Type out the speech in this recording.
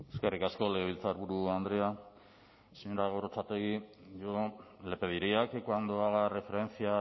eskerrik asko legebiltzarburu andrea señora gorrotxategi yo le pediría que cuando haga referencia a